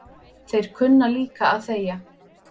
Þeir kunna líka að þegja